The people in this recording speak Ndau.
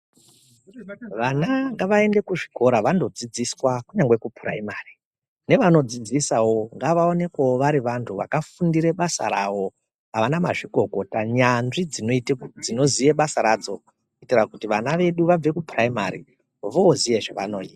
Vana ngavaende kuzvikora vandodzidziswa kunyangwe kupuraimari. Nevanodzidzisavo ngavaonekwevo vari vantu vakafundire basa ravo, vana mazvikokota nyanzvi dzinoziye basa radzo. Kuitire kuti vana vedu vabve kupuraimari voziye zvavanoita.